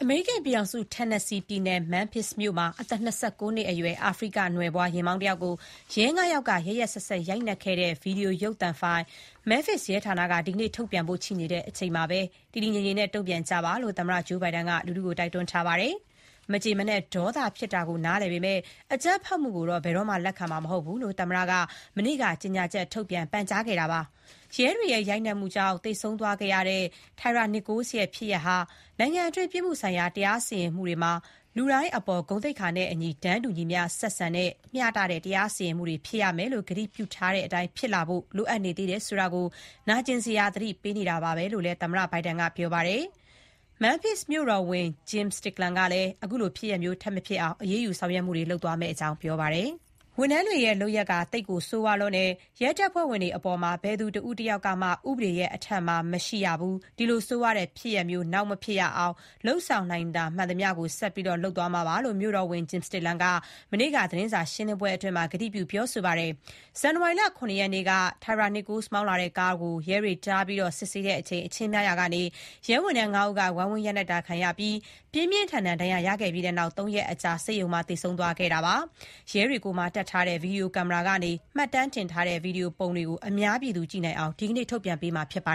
မေရိကန်ပြည်ထောင်စု၊ Tennessee ပြည်နယ် Memphis မြို့မှာ အသက် ၂၉ နှစ်အရွယ် အာဖရိကန်နွယ်ဖွား ယာဉ်မောင်းတယောက်ကို ရဲ ၅ ယောက်က ရက်ရက်စက်စက် ရိုက်နှက်ခဲ့တဲ့ ရုပ်သံ ဗွီဒီယိုဖိုင်ကို Memphis ရဲဌာနက ဒီကနေ့ ထုတ်ပြန်ဖို့ ရှိနေချိန်မှာပဲ တည်တည်ငြိမ်ငြိမ်တုံ့ပြန်ကြဖို့ သမ္မတဂျိုးဘိုင်ဒန်က တိုက်တွန်းထားပါတယ်။ မကျေမနပ် ဒေါသဖြစ်တာကို နားလည်ပေမယ့် အကြမ်းဖက်မှုကိုတော့ ဘယ်တော့မှ လက်ခံမှာ မဟုတ်ဘူးလို့ သမ္မတက မနေ့က ကြေညာချက်ထုတ်ပြန်ပြောကြားခဲ့တာပါ။ ရဲတွေရဲ့ ရိုက်နှက်မှုကြောင့် သေဆုံးသွားခဲ့ရတဲ့ Tyre Nichols ရဲ့ ဖြစ်ရပ်ဟာ နိုင်ငံတွင်း ပြစ်မှုဆိုင်ရာ တရားစီရင်မှုတွေမှာ လူတိုင်းအပေါ် ဂုဏ်သိက္ခာနဲ့အညီ တန်းတူညီမျှ ဆက်ဆံတဲ့၊ မျှတတဲ့ တရားစီရင်မှုတွေဖြစ်ရမယ်လို့ ကတိပြုထားတဲ့အတိုင်း ဖြစ်လာဖို့ လိုအပ်နေသေးတယ် ဆိုတာကို နာကျင်စရာ သတိပေး နေတာပါပဲလို့လည်း သမ္မတဘိုင်ဒန်က ပြောပါတယ်။ Memphis မြို့တော်ဝန် Jim Stickland ကလည်း ခုလိုဖြစ်ရပ်မျိုး ထပ်မဖြစ်အောင် အရေးယူ ဆောင်ရွက်မှုတွေ လုပ်သွားမယ့်အကြောင်း ပြောပါတယ်။ “ဒီ ရဲဝန်ထမ်းတွေရဲ့ လုပ်ရပ်က ဆိုးရွားလွန်းပါတယ်။ ရဲတပ်ဖွဲ့ဝင်တွေအပါအဝင် ဘယ်သူတဦးတယောက်မှ ဥပဒေရဲ့အထက်မှာ မရှိရပါဘူး။ ဒီလိုဆိုးရွားတဲ့ ဖြစ်ရပ်မျိုးတွေ ထပ်မဖြစ်ရအောင် လုပ်ဆောင်နိုင်တာ မှန်သမျှ လုပ်သွားပါမယ်လို့” မြို့တော်ဝန် Jim Stickland က မနေ့က သတင်းစာရှင်းလင်းပွဲမှာ ကတိပြု ပြောဆိုသွားတာပါ။ ဇန်နဝါရီလ ၇ ရက်နေ့က Tyre Nichols မောင်းလာတဲ့ကားကို ရဲတွေ တားပြီးစစ်ဆေးချိန် အချင်းများရာကနေ ရဲဝန်ထမ်း ၅ ဦးက ဝိုင်းဝန်း ရိုက်နှက်တာ ခံရပြီး ပြင်းပြင်းထန်ထန် ဒဏ်ရာရခဲ့ပြီးတဲ့နောက် ၃ ရက်အကြာ ဆေးရုံမှာ သေဆုံး သွားတာပါ။ ရဲတွေကိုယ်မှာ တပ်ထားတဲ့ Video ကင်မရာကနေ မှတ်တမ်းတင်ထားတဲ့ ဗီဒီယိုပုံတွေကို အများပြည်သူကြည့်နိုင်အောင် ဒီနေ့ ထုတ်ပြန်မှာဖြစ်ပါ